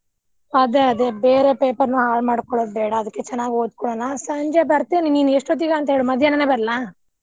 ಅದೆ ಅದೆ ಬೇರೆ paper ನಾ ಹಾಳ್ ಮಾಡ್ಕೊಳ್ಳೊದ ಬೇಡಾ ಅದ್ಕೆ ಚೆನ್ನಾಗಿ ಓದ್ಕೊಳ್ಳೋಣ ಸಂಜೆ ಬರ್ತೇನೆ ನಿನ್ ಎಷ್ಟೋತ್ತಿಗೆ ಅಂತಾ ಹೇಳು ಮಧ್ಯಾಹ್ನನೆ ಬರ್ಲಾ?